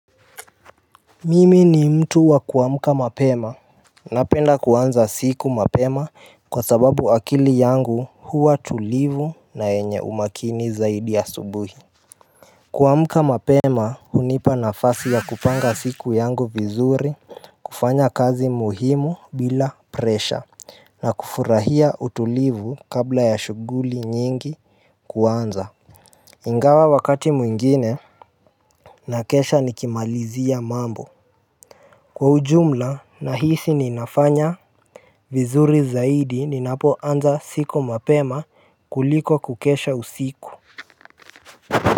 Mimi ni mtu wa kuamuka mapema Napenda kuanza siku mapema kwa sababu akili yangu huwa tulivu na yenye umakini zaidi asubuhi kuamuka mapema hunipa nafasi ya kupanga siku yangu vizuri kufanya kazi muhimu bila presha na kufurahia utulivu kabla ya shuguli nyingi kuanza Ingawa wakati mwingine na kesha nikimalizia mambo Kwa ujumla nahisi ninafanya vizuri zaidi ninapo anza siku mapema kuliko kukesha usiku.